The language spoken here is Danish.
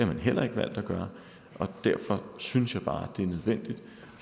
har man heller ikke valgt at gøre derfor synes jeg bare det er nødvendigt